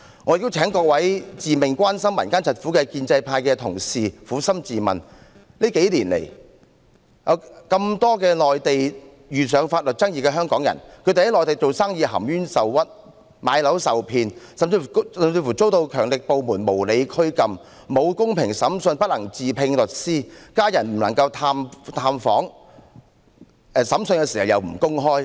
我亦請各位自命關心民間疾苦的建制派同事撫心自問，這數年來有無數香港人在內地遇上法律爭議，經營生意含冤受屈、買樓受騙，甚至遭強力部門無理拘禁，得不到公平審訊，不能自聘律師，家人不能探訪，審訊不能公開。